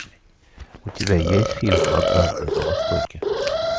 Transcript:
у тебя есть фильм однажды на востоке